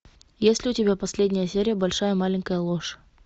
есть ли у тебя последняя серия большая маленькая ложь